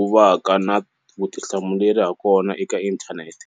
u vaka na vutihlamuleri hakona eka inthanete.